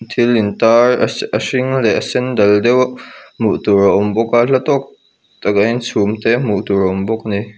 thil in tar a hring leh a sen dal deuh hmuh tur a awm bawk a hla tawk takah hian chhum te hmuh tur a awm bawk ani.